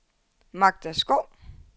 Magda Skov